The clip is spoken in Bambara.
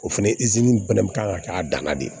O fɛnɛ fɛnɛ kan ka kɛ a dan na de